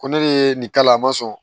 Ko ne de ye nin k'a la a ma sɔn